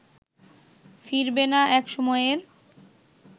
ফিরবে না এক সময়ের